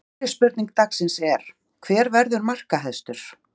Fyrri spurning dagsins er: Hver verður markahæstur?